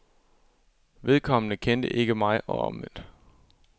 Vedkommende kendte ikke mig og omvendt.